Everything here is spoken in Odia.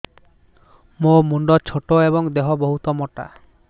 ମୋ ମୁଣ୍ଡ ଛୋଟ ଏଵଂ ଦେହ ବହୁତ ମୋଟା